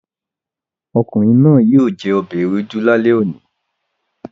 Ọ̀kùnrin náà yíò jẹ obẹ̀ èwédú làlé ọ̀ní.